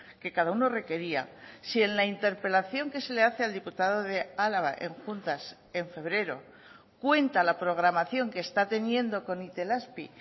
que cada uno requería si en la interpelación que se le hace al diputado de álava en juntas en febrero cuenta la programación que está teniendo con itelazpi